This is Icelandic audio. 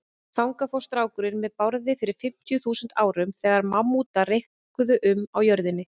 Þangað fór strákurinn með Bárði fyrir fimmtíu þúsund árum, þegar mammútar reikuðu um á jörðinni.